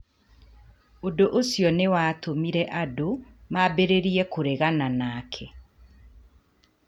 Ũndũ ũcio nĩ watũmire andũ mambĩrĩrie kũregana nake.